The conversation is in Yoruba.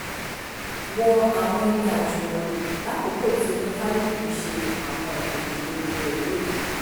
wọ àwọn ibi àjùmọ̀lò lákòókò tí oníkálukú ń ṣe àwọn ìgbòkègbodò rẹ̀ lóru